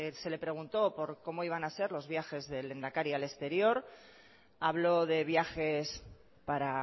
se le preguntó por cómo iban a ser los viajes del lehendakari al exterior habló de viajes para